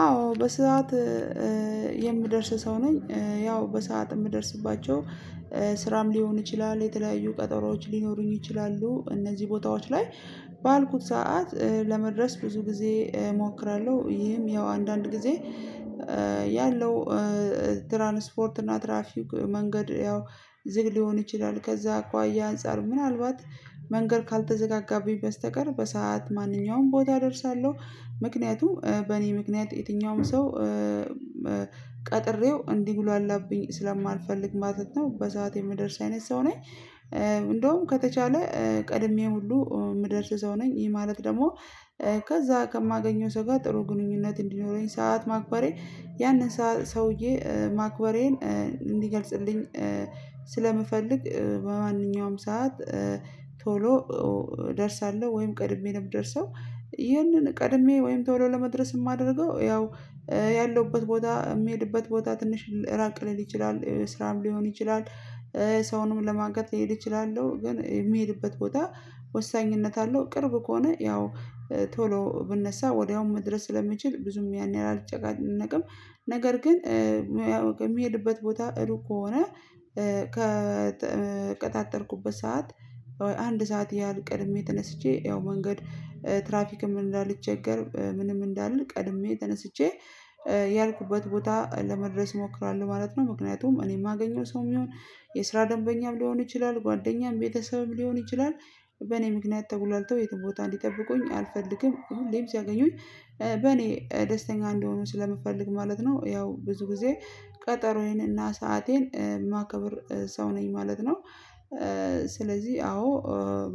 አዎ በሰአት የምደርስ ሰው ነኝ። ያው በሰአት የምደርስባቸው ስራም ሊሆን ይችላል፤ የተለያዩ ቀጠሮዎች ሊኖሩኝ ይችላሉ እነዚህ ቦታዎች ላይ ባልኩት ሰዓት ለመድረስ ብዙ ጊዜ እሞክራለሁ። ይህም ያው አንዳንድ ጊዜ ያለው ትራንስፖርት እና ትራፊክ መንገድ ያው ዝግ ሊሆን ይችላል ከዛ አኳያ አንፃር ምናልባት መንገድ ካልተዘጋጋብኝ በስተቀር በሰአት ማንኛውም ቦታ እደርሳለሁ። ምክንያቱም በእኔ ምክንያት የትኛውም ሰው ቀጥሬው እንዲጉላላብኝ ስለማልፈልግ ማለት ነው በሰአት የምደርስ አይነት ሰው ነኝ። እንደውም ከተቻለ ቀድሜ ሁሉ ምደርስ ሰው ነኝ። ይሄ ማለት ደግሞ ከዛ ከማገኘው ሰው ጋር ጥሩ ግንኙነት እንዲኖረኝ ሰዓት ማክበሬ ያንን ሰውዬ ማክበሬን እንዲገልጽልኝ ስለምፈልግ በማንኛውም ሰዓት ቶሎ እደርሳለሁ ወይም ቀድሜ ነው የምደርሰው። ይህንን ቀድሜ ወይም ቶሎ ለመድረስ የማደርገው ያው ያለሁበት ቦታ የሚሄድበት ቦታ ትንሽ ራቅ ሊል ይችላል፤ ስራም ሊሆን ይችላል፤ ሰውንም ለማጋት ሊሄዱ ይችላሉ ግን የሚሄድበት ቦታ ወሳኝነት አለው ቅርብ ከሆነ ያው ቶሎ ብነሳ ወዲያውም መድረስ ስለሚችል ብዙም ያን ያህል አልጫነቅም። ነገር ግን የሚሄድበት ቦታ እሩቅ ከሆነ ከተቀጣጠርኩበት ሰዓት አንድ ሰዓት ያህል ቀድሜ ተነስቼ ያው መንገድ ትራፊክ እንዳልቸገር ምንም እንዳልል ቀድሜ ተነስቼ ያልኩበት ቦታ ለመድረስ ሞክራለው ማለት ነው። ምክንያቱም እኔ የማገኘው ሰው ይሁን፥ የስራ ደንበኛም ሊሆን ይችላል፥ ጓደኛም፥ ቤተሰብም ሊሆን ይችላል በእኔ ምክንያት ተጉላልተው የትም ቦታ እንዲጠብቁኝ አልፈልግም ሁሌም ሲያገኙኝ በኔ ደስተኛ እንደሆኑ ስለምፈልግ ማለት ነው። ያው ብዙ ጊዜ ቀጠሮዬንና ሰአቴን የማከብር ሰው ነኝ ማለት ነው። ስለዚህ አዎ